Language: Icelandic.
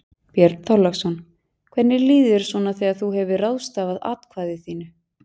Björn Þorláksson: Hvernig líður þér svona þegar þú hefur ráðstafað atkvæði þínu?